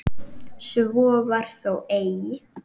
Svo var þó eigi.